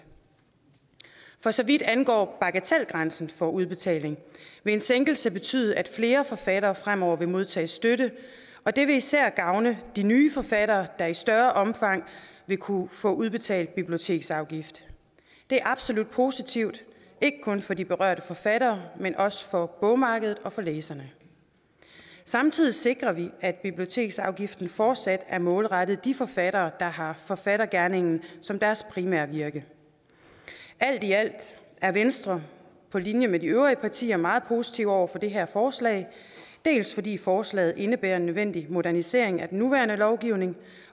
for så vidt angår bagatelgrænsen for udbetaling vil en sænkelse betyde at flere forfattere fremover vil modtage støtte og det vil især gavne de nye forfattere der i større omfang vil kunne få udbetalt biblioteksafgift det er absolut positivt ikke kun for de berørte forfattere men også for bogmarkedet og for læserne samtidig sikrer vi at biblioteksafgiften fortsat er målrettet de forfattere der har forfattergerningen som deres primære virke alt i alt er venstre på linje med de øvrige partier meget positive over for det her forslag dels fordi forslaget indebærer en nødvendig modernisering af den nuværende lovgivning